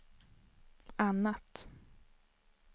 annat